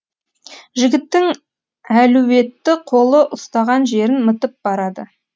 жігіттің әлуетті қолы ұстаған жерін мытып барады